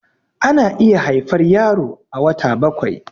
ana iya haifar yaro a wata bakwai